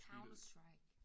Counter-Strike